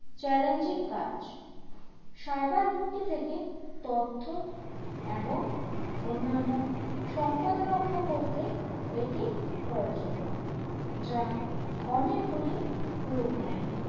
challenging কাজ cyber হুমকি থেকে তথ্য এবং অন্যান্য সম্পদ রক্ষা করতে এটি প্রয়োজনীয় যা অনেকগুলি রূপ নেয়